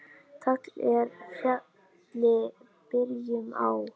Tagl er fjalli byrjun á.